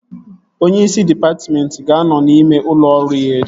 Onyeisi dịpatmentị ga-anọ n'ime ụlọ ọrụ ya echi